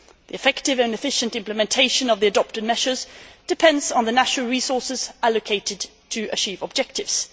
The effective and efficient implementation of the adopted measures depends on the national resources allocated to achieve objectives.